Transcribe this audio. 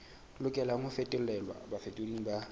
lokelang ho fetolelwa bafetoleding ba